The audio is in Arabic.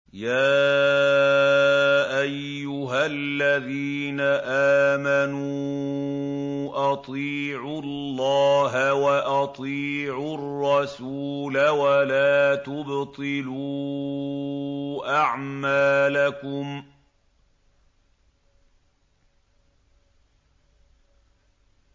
۞ يَا أَيُّهَا الَّذِينَ آمَنُوا أَطِيعُوا اللَّهَ وَأَطِيعُوا الرَّسُولَ وَلَا تُبْطِلُوا أَعْمَالَكُمْ